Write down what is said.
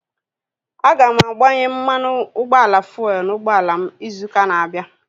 Aga m agbanye mmanụ ụgbọala fuelu n'ụgbọala m izu ụka na-abịa